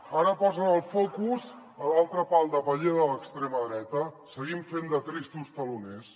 ara posen el focus a l’altre pal de paller de l’extrema dreta seguim fent de tristos teloners